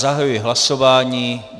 Zahajuji hlasování.